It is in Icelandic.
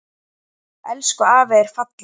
Elsku afi er fallinn frá.